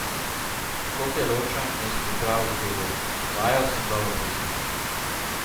Škofjeločan je s pripravo zadovoljen: 'Vajo sem dobro preizkusil.